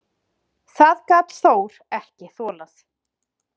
Það gat Þór ekki þolað.